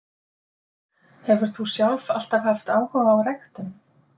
Hefur þú sjálf alltaf haft áhuga á ræktun?